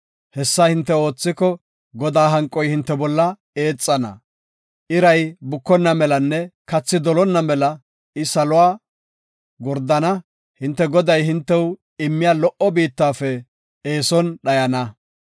Hessa hinte oothiko, Godaa hanqoy hinte bolla eexana; iray bukonna melanne kathi dolonna mela I saluwa gordana. Hinte Goday hintew immiya lo77o biittafe eeson dhayana.